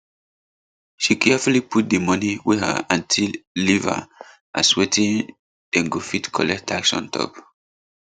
she carefully put di money wey her auntie leave her as wetim dem go fit collect tax on top